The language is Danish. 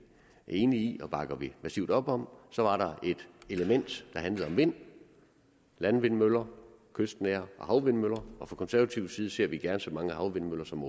enige i og bakker massivt op om så var der et element der handlede om vind landvindmøller kystnære og havvindmøller og fra konservativ side ser vi gerne så mange havvindmøller som